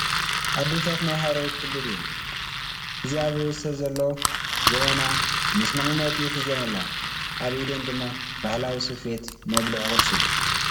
ኣዴታት ናይ ሓረሪ ክልል እየን እዚ ኣብ ርእሰን ዘሎ ጀበና ምስ መቐመጢኡ ሒዘን ኣለዋ፡ ኣብ ኢደን ድማ ባህላዊ ስፌት መብልዒ ቑርሲ እዩ ።